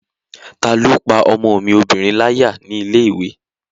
Taló pá ọmọ mi obìnrin láyà ní ilé-ìwé?